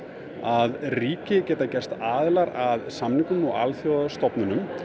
að ríki geta gerst aðilar að samningum og alþjóðastofnunum